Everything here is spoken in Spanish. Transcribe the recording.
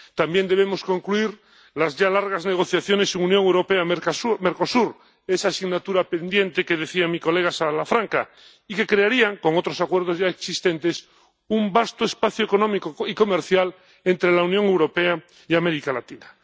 También debemos concluir las ya largas negociaciones Unión Europea Mercosur, esa asignatura pendiente que mencionaba mi colega Salafranca y que crearía, con otros acuerdos ya existentes, un vasto espacio económico y comercial entre la Unión Europea y América Latina.